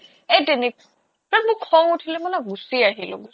এ তেনেক মোৰ খং উঠিলে মই গুচি আহিলো